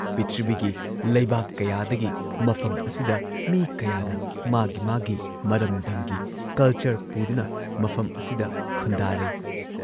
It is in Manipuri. ꯄ꯭ꯔꯤꯊꯤꯕꯤꯒꯤ ꯂꯩꯕꯥꯛ ꯀꯌꯥꯗꯒꯤ ꯃꯐꯝ ꯑꯁꯤꯗ ꯃꯤ ꯀꯌꯥꯅ ꯃꯥꯒꯤ ꯃꯥꯒꯤ ꯃꯔꯝꯗꯝꯒꯤ ꯀꯜꯆꯔ ꯄꯨꯗꯨꯅ ꯃꯐꯝ ꯑꯁꯤꯗ ꯈꯨꯟꯗꯥꯔꯩ ꯫